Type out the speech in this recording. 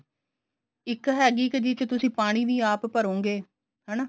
ਇੱਕ ਹੈਗੀ ਕਿ ਜਿਸ ਚ ਤੁਸੀਂ ਪਾਣੀ ਵੀ ਆਪ ਭਰੋਗੇ ਹਨਾ